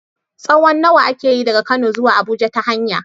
tsawon nawa ake yi daga Kano zuwa Abuja ta hanya?